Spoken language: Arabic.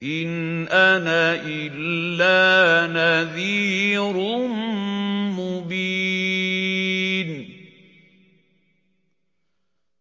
إِنْ أَنَا إِلَّا نَذِيرٌ مُّبِينٌ